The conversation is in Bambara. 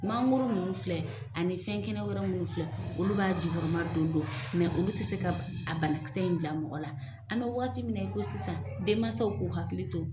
Mangoro munnu filɛ ani fɛn kɛnɛ wɛrɛ minnu filɛ olu b'a jukɔrɔma don don olu tɛ se ka a banakisɛ in bila mɔgɔ la an bɛ waati min na i ko sisan denmansaw k'u hakili to